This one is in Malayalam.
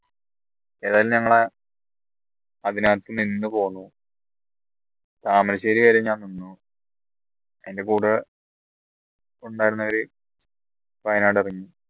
ഏതായാലും ഞങ്ങളെ അതിനകത്ത് നിന്ന് പോന്നു താമരശ്ശേരി വരെ ഞാൻ നിന്നു അതിൻറെ കൂടെ ഉണ്ടായിരുന്നവരെ വയനാട് ഇറങ്ങി